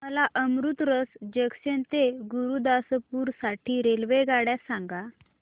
मला अमृतसर जंक्शन ते गुरुदासपुर साठी रेल्वेगाड्या सांगा